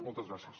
moltes gràcies